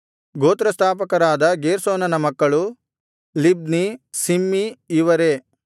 ಗೋತ್ರಸ್ಥಾಪಕರಾದ ಗೇರ್ಷೋನನ ಮಕ್ಕಳು Libni Shimei ಇವರೇ